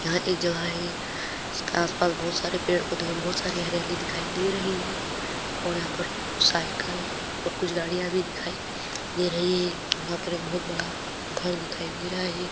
यहाँ एक जगह है इसका आस-पास बहुत सारे पेड़-पौधे और बहुत सारी हरियाली दिखाई दे रही है और यहाँ पर कुछ साइकिल और कुछ गाड़ियाँ भी दिखाई दे रही है यहाँ पर एक बहुत बड़ा घर दिखाई दे रहा है।